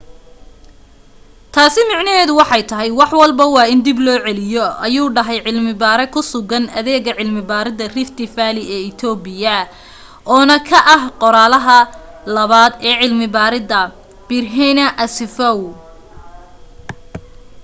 taasi micneheedu waxay tahay wax walbo waa in dib loo celiyo ayuu dhahay cilmi baare ku sugan adeega cilmi baaridda rift valley ee ethiopia oo na ka ah qoraalaha labaad ee cilmi baaridda berhane asfaw